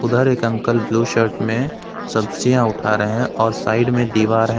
बाहर एक uncle blue shirt में सब्जियां उठा रहे हैं और साइड में दीवार है।